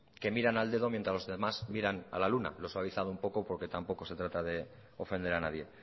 que miran al dedo mientras los demás miran a la luna lo he suavizado un poco porque tampoco se trata de ofender a nadie